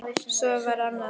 Svo var annað.